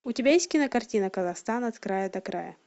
у тебя есть кинокартина казахстан от края до края